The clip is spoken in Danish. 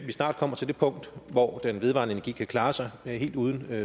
snart kommer til det punkt hvor den vedvarende energi kan klare sig helt uden